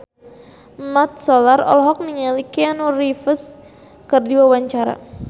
Mat Solar olohok ningali Keanu Reeves keur diwawancara